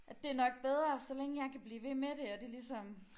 At det nok bedre så længe jeg kan blive ved med det at det ligesom